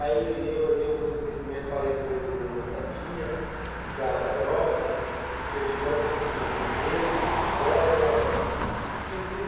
Aí, eu a, eu tenho conhecimento, falei com o vendedor da Sadia, da da Aurora, Perdigão, conseguimos redes, bolas